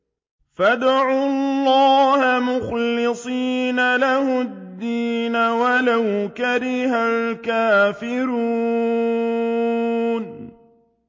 فَادْعُوا اللَّهَ مُخْلِصِينَ لَهُ الدِّينَ وَلَوْ كَرِهَ الْكَافِرُونَ